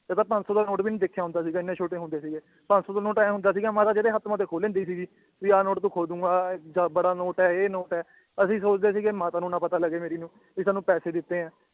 ਪੰਜ ਸੌ ਦਾ ਨ ਵੀ ਨੀ ਦੇਖਿਆ ਹੁੰਦਾ ਸੀਗਾ ਇੰਨੇ ਛੋਟੇ ਹੁੰਦੇ ਸੀਗੇ ਪੰਜ ਸੌ ਦਾ ਨ ਏਂ ਹੁੰਦਾ ਸੀਗਾ ਮਾਤਾ ਜਿਹੜੇ ਹੱਥ ਮੇ ਦੇਖ ਖੋ ਲੈਂਦੀ ਸੀਗੀ ਵੀ ਆ ਨੋਟ ਤੂੰ ਖੋ ਦੂੰਗਾ ਇਹ ਜਾ ਬੜਾ ਨੋਟ ਏ ਇਹ ਨੋਟ ਏ ਅਸੀ ਸੋਚਦੇ ਸੀਗੇ ਮਾਤਾ ਨੂੰ ਨਾ ਪਤਾ ਲੱਗੇ ਮੇਰੀ ਨੂੰ ਵੀ ਸਾਨੂੰ ਪੈਸੇ ਦਿੱਤੇ ਏ